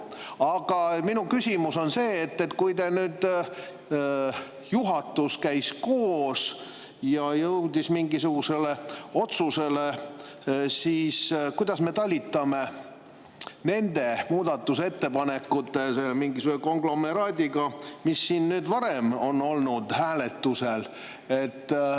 Aga minu küsimus on see, et kui nüüd juhatus käis koos ja jõudis mingisugusele otsusele, siis kuidas me talitame nende muudatusettepanekute mingisuguse konglomeraadiga, mis siin on varem hääletusel olnud.